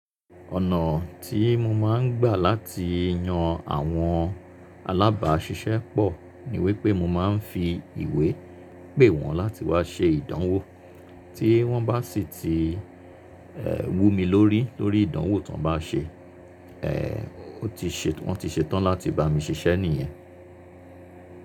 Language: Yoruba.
Ọ̀nà tí mo máa ń gbà láti yan àwọn alábàáṣiṣẹ́ pọ̀ ní wípé mo máa ń fi ìwé pè wọ́n láti wá ṣe ìdánwò. Tí wọ́n bá sì ti, wú mi lórí lórí ìdánwò tán bá ṣe, wọ́n ti ṣe tán láti bá mi ṣiṣẹ́ nìyẹn.